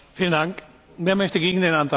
Wer möchte gegen den Antrag sprechen?